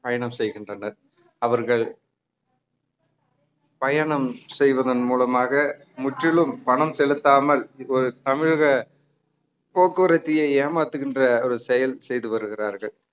பயணம் செய்கின்றனர் அவர்கள் பயணம் செய்வதன் மூலமாக முற்றிலும் பணம் செலுத்தாமல் ஒரு தமிழக போக்குவரத்தையே ஏமாத்துகின்ற ஒரு செயல் செய்து வருகிறார்கள்